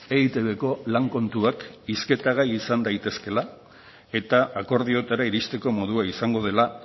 eitbko lan kontuak hizketa gai izan daitezkeela eta akordiotara iristeko modua izango dela